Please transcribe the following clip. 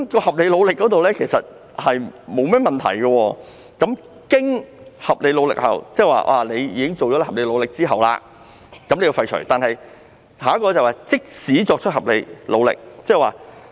"合理努力"這語句沒有問題，"經合理努力後"意指已經盡了合理努力，但該條文廢除這語句，代以"即使作出合理努力"。